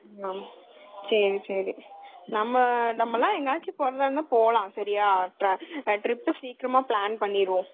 ஆஹ் சரி, சரி.நம்ம எல்லாம் எங்கையாது போலாம் trip சீக்கிரமா plan பண்ணிரலாம்.